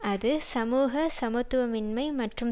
அது சமூக சமத்துவமின்மை மற்றும்